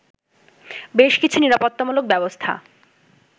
বেশ কিছু নিরাপত্তামূলক ব্যবস্থা